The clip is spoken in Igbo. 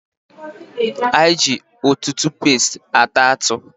Anyị ji tutupesti ata atụ